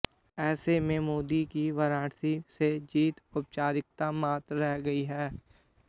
ऐसे में मोदी की वाराणसी से जीत औपचारिकता मात्र रह गई है